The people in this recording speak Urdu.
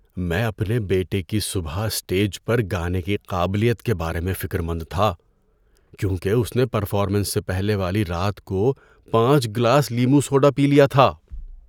میں اپنے بیٹے کی صبح اسٹیج پر گانے کی قابلیت کے بارے میں فکرمند تھا کیونکہ اس نے پرفارمنس سے پہلے والی رات کو پانچ گلاس لیموں سوڈا پی لیا تھا۔